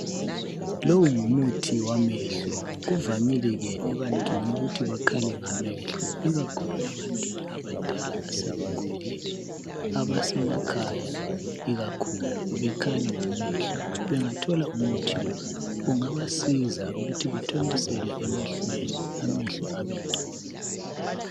Lowu ngumuthi wamehlo kuvamile ke ebantwini ukuthi bekhale ngamehlo ikakhulu ebantwini abadala asebekhulile abasemakhaya ikakhulu bekhale ngamehlo bengathola umuthi lo ungabasiza ukuthi bathontisele emehlweni amehlo abengcono.